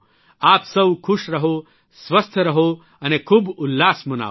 આપ સૌ ખુશ રહો સ્વસ્થ રહો અને ખૂબ ઉલ્લાસ મનાવો